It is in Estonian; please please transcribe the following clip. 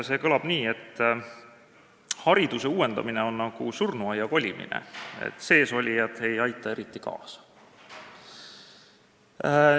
See kõlab nii: "Hariduse uuendamine on nagu surnuaia kolimine, seesolijad ei aita eriti kaasa.